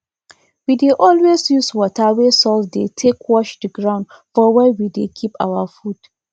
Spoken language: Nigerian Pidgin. we dey always use water wey salt dey take wash the ground for where we dey keep our food